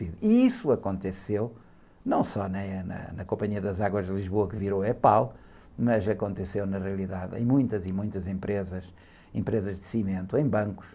E isso aconteceu, não só na, na, na, na Companhia das Águas de Lisboa, que virou EPAL, mas aconteceu, na realidade, em muitas e muitas empresas, empresas de cimento, em bancos.